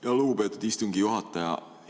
Aitäh, lugupeetud istungi juhataja!